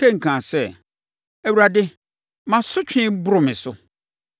Kain kaa sɛ, “ Awurade mʼasotweɛ boro me so.